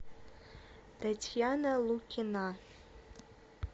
татьяна лукина